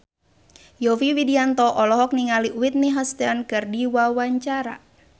Yovie Widianto olohok ningali Whitney Houston keur diwawancara